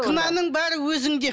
кінәнің бәрі өзіңде